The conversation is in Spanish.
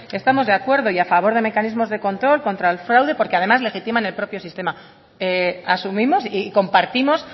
estamos de acuerdo y a favor de mecanismos de control contra el fraude porque además legitiman el propio sistema asumimos y compartimos